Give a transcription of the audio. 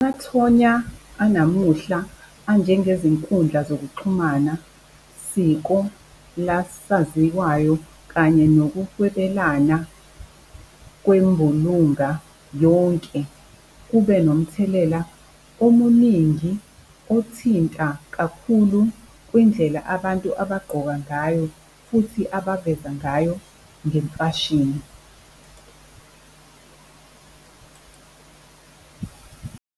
Amathonya anamuhla anjengezinkundla zokuxhumana siko lasaziwayo kanye nokuhwebelana kwembulunga yonke kube nomthelela omuningi othinta kakhulu kwindlela abantu abagqoka ngayo, futhi abaveza ngayo ngemfashini .